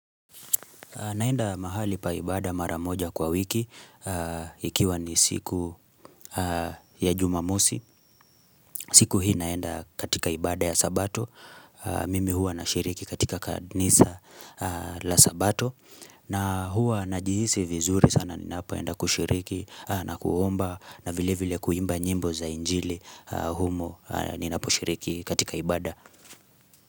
Naenda mahali pa ibada maramoja kwa wiki, ikiwa ni siku ya jumamosi. Siku hii naenda katika ibada ya sabato. Mimi hua na shiriki katika kanisa la sabato. Na hua najihisi vizuri sana ninapoenda kushiriki na kuomba na vile vile kuimba nyimbo za njili humo ninapo shiriki katika ibada.